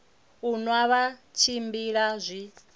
u nwa vha tshimbila zwi